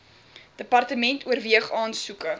department oorweeg aansoeke